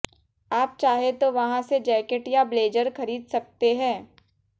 आप चाहें तो वहां से जैकेट या ब्लेजर खरीज सकते हैं